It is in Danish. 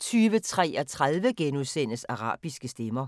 20:33: Arabiske stemmer